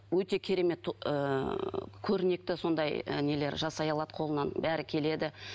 өте керемет ыыы көрнекті сондай ы нелер жасай алады қолынан бәрі келеді